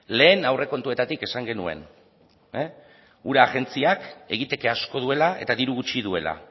lehen aurrekontuetatik esan genuen ura agentziak egiteke asko duela eta diru gutxi duela